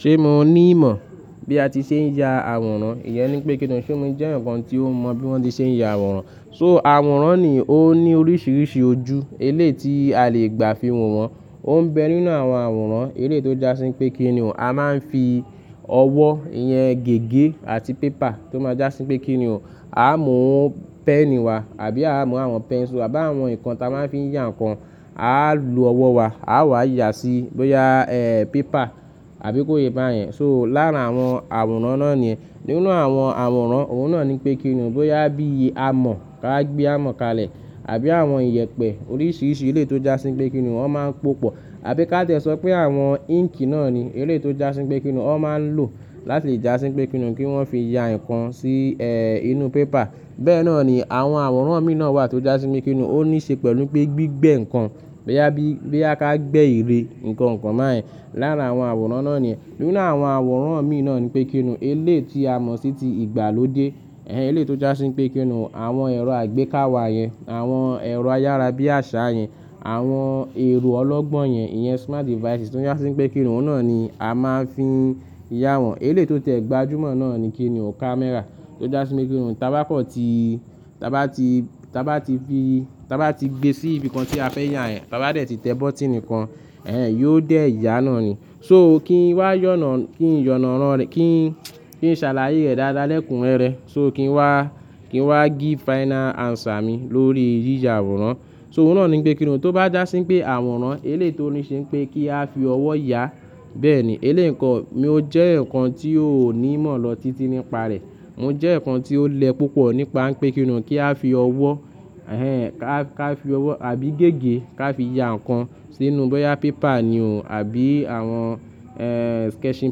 Ṣé mo ní ìmọ̀ bí a ti ṣe ń ya àwòrán? Ìyẹn ni pé kí ni. Ṣé mo jẹ́ eeyan kan tí ó mọ̀ bí wọ́n ti ṣe ń ya àwòrán? So àwòrán ni ó ní oríṣiríṣi ojú, eléyi tí a le gbà fi wọ̀ wọ́n. Ó ń bẹ nínú àwọn àwòrán eléyi tó já sí pé kí ni o. A máa ń fi ọwọ́, ìyẹn gègé àti pépà tó máa já sí pé kí ni o. A á mú pẹ́ẹ̀nì wa àbí a á mú àwọn pẹ́nsu àbí àwọn ǹkan t'a máa ń fi ya ǹnkan. A á lo ọwọ́ wa, a á wá yà sí bóyá ẹ́ pépà àbí kó ye bá yẹn. So lára àwọn àwòrán náà ni ẹ́. Nínú àwọn àwòrán, òun náà ni pé kí ni o. Bóyá bí i amọ̀ ká wa gbé amọ̀ kalẹ̀ àbí àwọn iyẹ̀pẹ̀ oríṣiríṣi eléyi tó já sí pé kí ni o wọ́n máa ń pòpọ̀. Àbí ká tiẹ sọ pé àwọn íǹkì náà ni eléyi tó já sí pé kí ni o. Wọ́n máa ń lò láti le já sí pé kí ni o kí wọ́n fi ya ǹnkan sí ẹ́ inú pépà. Bẹ́ẹ̀ náà ni àwọn àwòrán míì náà wà tó já sí pe kí ni o. Ó níí ṣe pẹ̀lú pé gbígbẹ́ nǹkan bóyá bí i bóyá ká gbé ère ǹkan kan báyen. Láàrín àwọn àwòrán náà ni ẹ́. Nínú àwọn àwòrán míì náà ni pé kí ni o. Eléyi tí a mọ̀ sí ti ìgbàlódé, ẹ́hẹ́n eléyi tó já sí wipé kí ni o. Àwọn ẹ̀rọ àgbékàwé yẹn, àwọn ẹ̀rọ ayára bí àṣá yẹn, àwọn ẹ̀rọ ọlọ́gbọ́n yẹn, ìyẹn smart devices tó já sí wipé kí ni o náà ni a máa ń fi ya wọ́n. Eléyi tó tẹ̀ gbajúmọ̀ náà ni kí ni o. Kámẹ́rà tó já sí wipe kí ni o. Tá bá kọ́ ti, tá bá ti, tá bá ti fi, tá bá ti gbé sí ibìkan tí a fẹ́ ya yẹ̀n, tá bá tẹ ti bọ́tìnì kan, ẹ́hẹ́n yóò dé yà náà ni. So kí n wá yànà, kí n yànànán rẹ̀, kí n, kí n ṣàlàyé rẹ̀ dáadáa lẹ́kùn rẹ́rẹ. So kí n wá, kí n wá gíve final answer mi lórí yíyà àwòrán. So òun náà ni pé kí ni o. Tó bá já sí wipé àwòrán eléyi tó níí ṣe wipé kí a fi ọwọ́ ya, bẹ́ẹ̀ ni eléyi ǹnkan. Mi ò jẹ́ eeyan kan tí ó ní ìmọ̀ lọ títí nípa rẹ̀. Mo jẹ́ eeyan kan tí ó lẹ́ púpọ̀ nípa wipé kí ni o kí a fi ọwọ́, ẹ́hẹ́n ká, ká fi ọwọ́ àbí gègé ká fi ya ǹkan sínú bóyá pépà ni o àbí àwọn ẹ́ sketching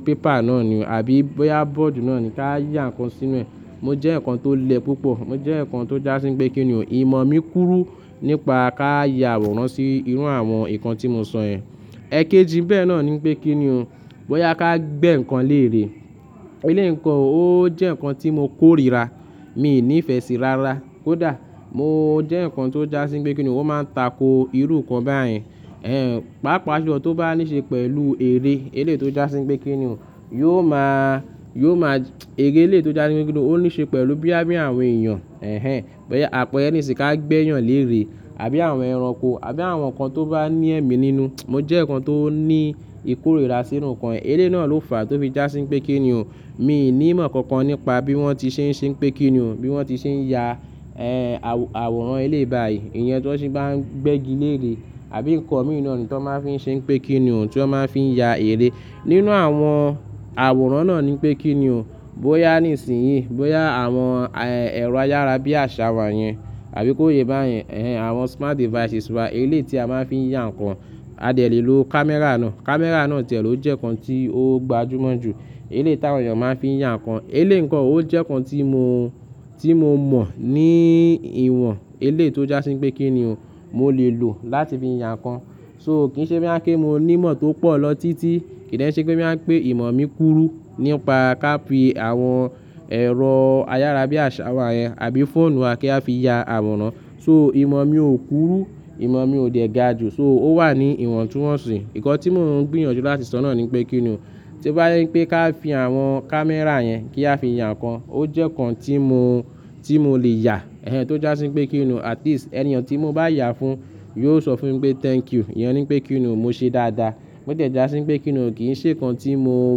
paper náà ni o àbí bóyá bọ́ọ̀dù náà ni ká yà ǹkan sínú ẹ́. Mo jẹ́ eeyan kan tó lẹ́ púpọ̀, mo jẹ́ eeyan kan tó já sí wipé kí ni o. Ìmọ̀ mi kúrú nípa ká ya àwòrán sí irú àwọn ǹkan tí mo sọ yẹn. Ẹ̀keji n bẹ̀ náà ni n pé kí ni o. Bóyá ká gbé ǹnkan lérè. Eléyi ǹ ko o ò jẹ́ ǹnkan tí mo kóríra, mi n ní ìfẹ́ síi rárá. Ko dà? Mo jẹ́ eeyan kan tó já sí pé kí ni o. O máa ń tako irú ǹnkan báyen. Ẹ̀hẹ́n pàápàá julọ tó bá níí ṣe pẹ̀lú ère eléyi tó já sí wipé kí ni o. Yóò máa, yóò máa, ère eléyi tó já sí wipé kí ni o. Ó níí ṣe pẹ̀lú bo ya, bí i àwọn èèyàn. Ẹ̀hẹ́n bóyá àpẹẹrẹ nísinìí ká gbé èèyàn lérè àbí àwọn ẹranko àbí àwọn ǹnkan tó bá ní ẹ̀mí nínú. Mo jẹ́ eeyan kan tó ní ìkórìíra sírú ǹnkan yen. Eléyi náà ló fàá tó fi já sí wipé kí ni o. Mi n ní ìmọ̀ kankan nípa bí wọ́n ti ṣe ń ṣe pé kí ni o, bí wọ́n ti ṣe ń ya ẹ́ àwò-àwòrán eléyi báyìí. Ìyẹn tí wọ́n se bá ń gbégi lérè àbí ǹnkan mìí naa ni tan wọ́n máa ń fi ṣe pé kí ni o tí wọ́n máa ń fi ya ère. Nínú àwọn àwòrán náà ni pé kí ni o. Bóyá nísìnyí, bóyá àwọn ẹ́ ẹ̀rọ ayára bí àṣá wa yẹn àbí kó ye bá yẹn. Ẹ̀hẹ́n àwọn smart devices wa eléyi tí a máa ń fi ya ǹnkan. A dẹ̀ lè lo kámẹ́rà náà. Kámẹ́rà náà tiẹ̀ ló jẹ́ ǹnkan tí ó gbajúmọ̀ jù eléyi táwọn èèyàn máa ń fi ya ǹnkan. Eléyi ǹ ko o ó jẹ́kan tí mo, tí mo mọ̀ ní ìwọ̀n eléyi tó já sí wipé kí ni o. Mo lè lò láti fi ya ǹkan. So kì í ṣe bo ya pé mo ní ìmọ̀ tó pọ̀ lọ títí. Kì í de se pé bo ya pé ìmọ̀ mi kúrú nípa ká fi àwọn ẹ̀rọ ayára bí àṣá wa yẹn àbí fóònù wa kí a fi ya àwòrán. So ìmọ̀ mi ò kúrú, ìmọ̀ mi ò dè ga ju, so ó wà ní ìwọ̀ntúnwọ̀nsì. Nnkan tí mò ń gbìyànjú láti sọ náà ni wipé kí ni o. Tí o bá jé wipé ká fi àwọn kámẹ́rà yẹn kí a fi ya ǹnkan, ó jẹ́ ǹnkan tí mo, tí mo lè yà. Ẹ̀hẹ́n tó já sí pé kí ni o. At least ẹniyan tí mo bá yà á fún yóò sọ fún mi pé thank you. Ìyẹn ni pé kí ni o. Mo ṣe dáadáa. Bo tiẹ̀ já sí wipé kí ni o. Kì í ṣe ǹnkan tí mo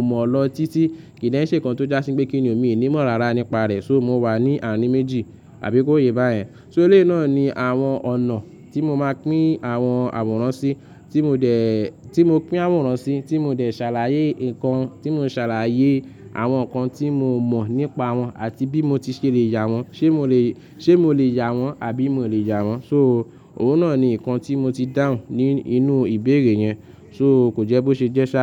mọ̀ lọ títí. Kì í de ṣe ǹnkan tó já sí wipé kí ni o. Mi i ní ìmọ̀ rárá nípa rẹ̀. So mo wà ní àárín méjì àbí kó ye bá yẹn. So eléyi náà ni àwọn ọ̀nà tí mo máa pín àwọn àwòrán sí, tí mo dè, tí mo pín àwòrán sí, tí mo dè ṣàlàyé ǹnkan, tí mo ṣàlàyé àwọn ǹnkan tí mo mọ̀ nípa wọn àti bí mo ti ṣe lè ya wọ́n. Ṣé mo lè, ṣe mo lè ya wọ́n àbí mi ò lè ya wọ́n? So òun náà ni ǹnkan tí mo ti dáhùn ní inú ìbéèrè yẹn. So kò jẹ́ bó ṣe jẹ́ sá.